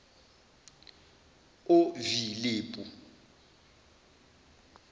ovilepu